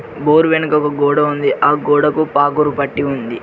Bore వెనుక ఒక గోడ ఉంది ఆ గోడకు పాగురు పట్టి ఉంది.